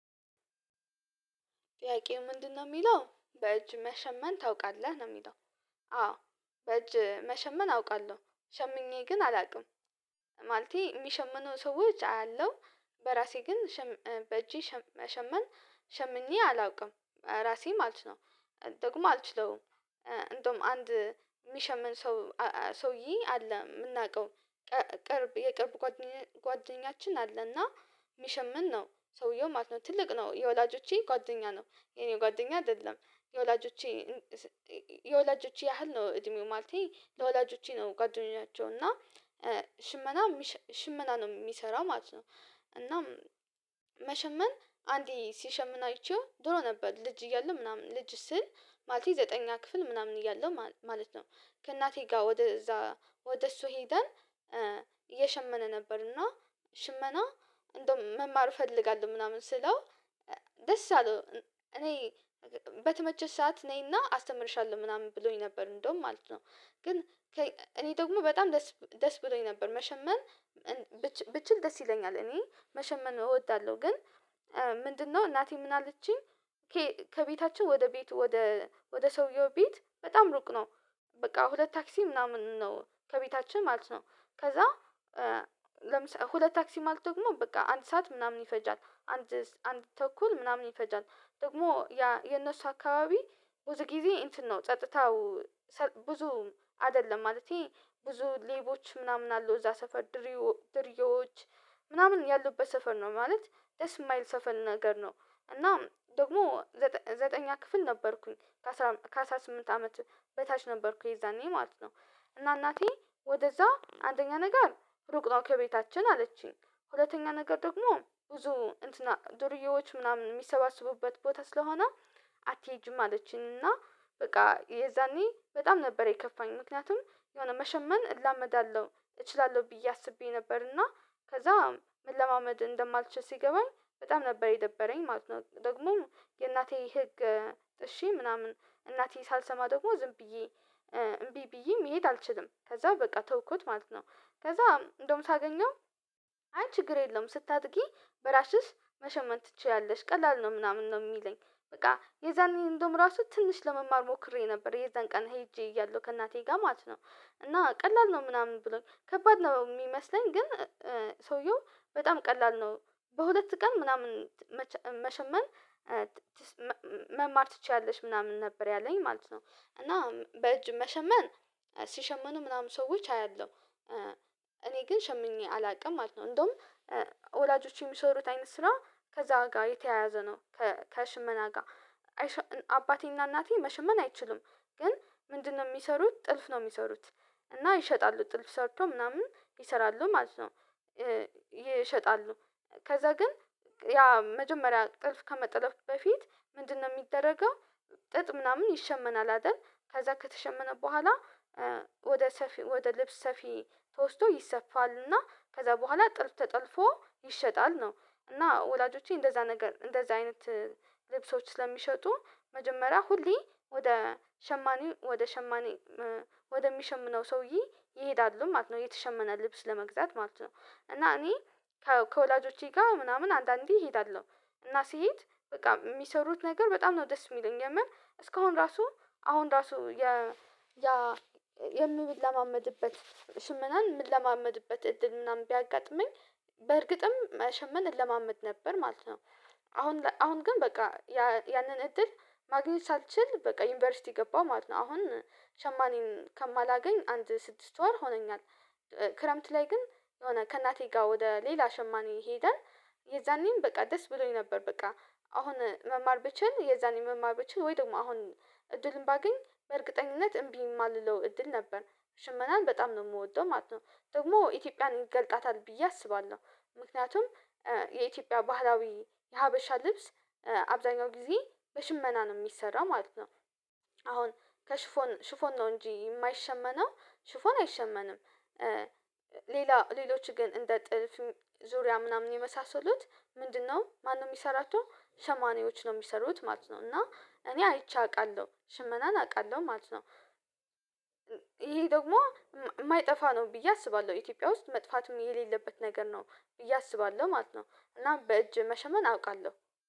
ጥያቄው ምንድነው የሚለው በእጅ መሸመን ታውቃለህ ነው የሚለው? አዎ በእጅ መሸመን አውቃለሁ ሸምኜ ግን አላውቅም። ማለቴ የሚሸምኑ ሰዎች አያለሁ። በራሴ ግን በእጄ መሸመን ሸምኜ አላውቅም ራሴም አልችለውም። ደግሞ አልችለውም። እንደውም አንድ የሚሸምን ሰው ሰውዬ አለ የምናውቀው ቅርብ የቅርብ ጓደኛችን አለና የሚሸምን ነው። ሰውየው ማለት ነው ትልቅ ነው የወላጆቼ ጓደኛ ነው የኔ ጓደኛ አይደለም የወላጆቼ የወላጆቼ ያህል ነው እድሜው ማለቴ ለወላጆቼ ነው ጓደኛቸው እና ሽመና ሽመና ነው የሚሰራው ማለት ነው። እናም መሸመን አንዴ ሲሸምን አይቼው ድሮ ነበር ልጅ እያለው ምናምን ልጅ ስል ማለቴ ዘጠነኛ ክፍል ምናምን እያለሁ ማለት ነው። ከእናቴ ጋር ወደ እዛ ወደ እሱ ሄደን እየሸመነ ነበር እና ሽመና እንደውም መማር እፈልጋለሁ ምናምን ስለው ደስ አለው እኔ በተመቸሽ ሰዓት ነይና አስተምርሻለሁ ምናምን ብሎኝ ነበር እንደውም ማለት ነው። ግን እኔ ደግሞ በጣም ደስ ደስ ብሎኝ ነበር መሸመን ብችል ደስ ይለኛል እኔ መሸመን እወዳለሁ። ግን ምንድነው እናቴ ምን አለችኝ ከቤታቸው ወደ ቤቱ ወደ ወደ ሰውየው ቤት በጣም ሩቅ ነው። በቃ ሁለት ታክሲ ምናምን ነው ከቤታችን ማለት ነው። ከዛ ለምሳሌ ሁለት ታክሲ ማለት ደግሞ በቃ አንድ ሰዓት ምናምን ይፈጃል። አንድ ተኩል ምናምን ይፈጃል ደግሞ የነሱ አካባቢ ብዙ ጊዜ እንትን ነው ጸጥታው ብዙ አይደለም ማለቴ ብዙ ሌቦች ምናምን አሉ እዛ ሰፈር ድሪዮ ዱሪዮዎች ምናምን ያሉበት ሰፈር ነው ማለት ደስ የማይል ሰፈር ነገር ነው። እና ደግሞ ዘጠነኛ ክፍል ነበርኩኝ ከአሥራ ስምንት አመት በታች ነበርኩኝ የዛኔ ማለት ነው። እና እናቴ ወደዛ አንደኛ ነገር ሩቅ ነው ከቤታችን አለችኝ ሁለተኛ ነገር ደግሞ ብዙ እንትና ዱርዬዎች ምናምን የሚሰባስቡበት ቦታ ስለሆነ አትሄጂም አለችኝ። እና በቃ የዛኔ በጣም ነበር የከፋኝ ምክንያቱም የሆነ መሸመን እላመዳለሁ እችላለሁ ብዬ አስቤ ነበር እና ከዛም መለማመድ እንደማልችል ሲገባኝ በጣም ነበር የደበረኝ ማለት ነው። ደግሞም የእናቴ ህግ እሺ ምናምን እናቴ ሳልሰማ ደግሞ ዝም ብዬ እምቢ ብዬ መሄድ አልችልም ከዛ በቃ ተውኩት ማለት ነው። ከዛ እንደውም ሳገኘው አይ ችግር የለውም ስታድጊ በራስሽ መሸመን ትችያለሽ ቀላል ነው ምናምን ነው የሚለኝ። በቃ የዛን ኢንደዉም ራሱ ትንሽ ለመማር ሞክሬ ነበር የዛን ቀን ሄጄ እያለሁ ከእናቴ ጋር ማለት ነው እና ቀላል ነው ምናምን ብሎን ከባድ ነው የሚመስለኝ ግን ሰውየው በጣም ቀላል ነው። በሁለት ቀን ምናምን መሸመን መማር ትችያለሽ ምናምን ነበር ያለኝ ማለት ነው። እና በእጅ መሸመን ሲሸመኑ ምናምን ሰዎች አያለሁ እኔ ግን ሸምኜ አላውቅም ማለት ነው። እንደውም ወላጆቼ የሚሰሩት አይነት ስራ ከዛ ጋር የተያያዘ ነው። ከሽመና ጋር አባቴና እናቴ መሽመን አይችልም ግን ምንድነው የሚሰሩት ጥልፍ ነው የሚሰሩት። እና ይሸጣሉ ጥልፍ ሰርተው ምናምን ይሰራሉ ማለት ነው። ይሸጣሉ ከዛ ግን ያ መጀመሪያ ጥልፍ ከመጥለፍ በፊት ምንድነው የሚደረገው ጥጥ ምናምን ይሸመናል አይደል? ከዛ ከተሸመነ በኋላ ወደ ሰፊ ወደ ልብስ ሰፊ ተወስዶ ይሰፋል እና ከዛ በኋላ ጥልፍ ተጠልፎ ይሸጣል ነው። እና ወላጆቼ እንደዛ ነገር እንደዛ አይነት ልብሶች ስለሚሸጡ መጀመሪያ ሁሌ ወደ ሸማኔ ወደ ሸማኔ ወደሚሸምነው ሰውዬ ይሄዳሉ ማለት ነው የተሸመነ ልብስ ለመግዛት ማለት ነው። እና እኔ ከወላጆቼ ጋር ምናምን አንዳንዴ እሄዳለሁ እና ስሄድ በቃ የሚሰሩት ነገር በጣም ነው ደስ የሚለኝ የመር እስካሁን ራሱ አሁን ራሱ ያ የምለማመድበት ሽመናን የምለማመድበት እድል ምናምን ቢያጋጥመኝ በእርግጥም መሸመን እለማመድ ነበር ማለት ነው። አሁን አሁን ግን በቃ ያንን እድል ማግኘት ሳልችል በቃ ዩኒቨርሲቲ ገባሁ ማለት ነው። አሁን ሸማኔን ከማላገኝ አንድ ስድስት ወር ሆነኛል። ክረምት ላይ ግን የሆነ ከእናቴ ጋር ወደ ሌላ ሸማኔ ሄደን የዛኔም በቃ ደስ ብሎኝ ነበር በቃ አሁን መማር ብችል የዛኔ መማር ብችል ወይ ደግሞ አሁን እድሉን ባገኝ በእርግጠኝነት እምቢ የማልለው እድል ነበር። ሽመናን በጣም ነው የምወደው ማለት ነው። ደግሞ ኢትዮጵያን ይገልጣታል ብዬ አስባለሁ። ምክንያቱም የኢትዮጵያ ባህላዊ የሀበሻ ልብስ አብዛኛው ጊዜ በሽመና ነው የሚሰራው ማለት ነው። አሁን ከሽፎን ሽፎን ነው እንጂ የማይሸመነው ሽፎን አይሸመንም። ሌላ ሌሎች ግን እንደ ጥልፍ ዙሪያ ምናምን የመሳሰሉት ምንድነው ማነው የሚሰራቸው ሸማንዬዎች ነው የሚሰሩት ማለት ነው። እና እኔ አይቼ አውቃለሁ ሽመናን አውቃለሁ ማለት ነው። ይሄ ደግሞ የማይጠፋ ነው ብዬ አስባለሁ ኢትዮጵያ ውስጥ መጥፋትም የሌለበት ነገር ነው ብዬ አስባለሁ ማለት ነው። እናም በእጅ መሸመን አውቃለሁ።